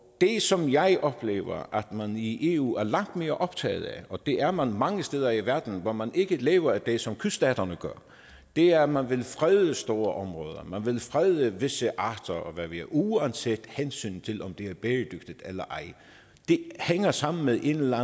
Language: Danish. det som jeg oplever at man i eu er langt mere optaget af og det er man mange steder i verden hvor man ikke lever af det som kyststaterne gør er at man vil frede store områder at man vil frede visse arter og hvad ved jeg uanset hensynet til om det er bæredygtigt eller ej det hænger sammen med en eller